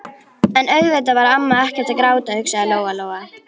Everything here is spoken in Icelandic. En auðvitað var amma ekkert að gráta, hugsaði Lóa-Lóa.